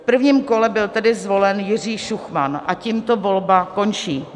V prvním kole byl tedy zvolen Jiří Šuchman, a tímto volba končí.